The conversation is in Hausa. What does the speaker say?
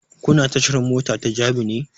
Kuna tashar mota da jabi ne?